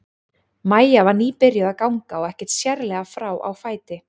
Maja var nýbyrjuð að ganga og ekkert sérlega frá á fæti.